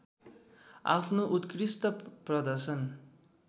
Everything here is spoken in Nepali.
आफ्नो उत्कृष्ट प्रदर्शन